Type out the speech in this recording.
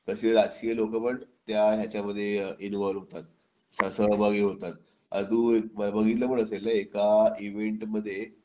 तसे राजकीय नेते पण त्या ह्याच्यामध्ये इन्व्हॉल्व होतात सहभागी होतात आता तू बघितलं पण असेल ना एका इव्हेंट मध्ये